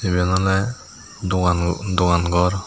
iben oley dogan dogan gor.